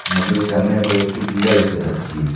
নদীর সামনে কয়েকটি টিল্লা দেখতে পাচ্ছি।